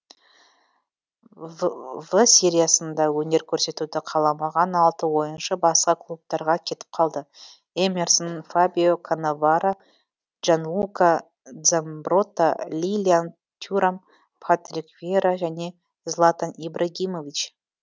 в сериясында өнер көрсетуді қаламаған алты ойыншы басқа клубтарға кетіп қалды эмерсон фабио каннаваро джанлука дзамбротта лилиан тюрам патрик виейра және златан ибрагимович